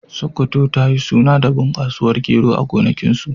Sokoto ta yi suna da bunƙasuwar gero a gonakinsu.